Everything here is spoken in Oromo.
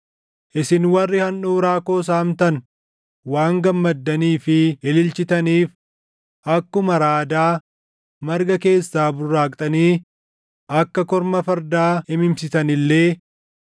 “Isin warri handhuuraa koo saamtan waan gammaddanii fi ililchitaniif, akkuma raadaa marga keessaa burraaqxanii akka korma fardaa imimsitan illee,